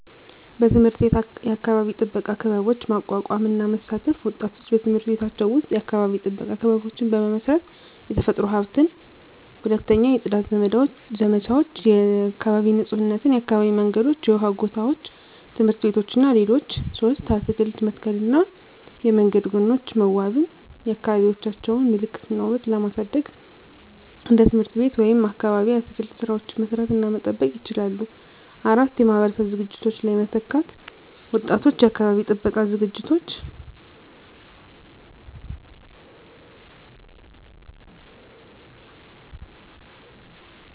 1. በትምህርት ቤት የአካባቢ ጥበቃ ክበቦች ማቋቋም እና መሳተፍ ወጣቶች በትምህርት ቤቶቻቸው ውስጥ የአካባቢ ጥበቃ ክበቦችን በመመስረት፣ የተፈጥሮ ሀብትን። 2. የጽዳት ዘመቻዎች (የአካባቢ ንፁህነት) የአካባቢ መንገዶች፣ የውሃ ጎታዎች፣ ትምህርት ቤቶች እና ሌሎች 3. አትክልት መተከልና የመንገድ ጎኖች መዋበን የአካባቢዎቻቸውን ምልክት እና ውበት ለማሳደግ እንደ ትምህርት ቤት ወይም አካባቢ የአትክልት ሥራዎችን መስራት እና መጠበቅ ይችላሉ። 4. የማህበረሰብ ዝግጅቶች ላይ መተካት ወጣቶች የአካባቢ ጥበቃ ዝግጅቶች